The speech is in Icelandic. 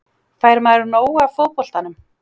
Fær maður nóg af fótboltanum?